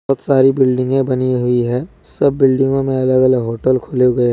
बहुत सारी बिल्डिंग है बनी हुई है सब बिल्डिंगों में अलग-अलग होटल खोले गए --